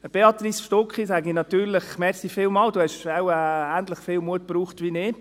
Zu Béatrice Stucki sage ich natürlich: Vielen Dank, Sie haben wohl ähnlich viel Mut gebraucht wie ich.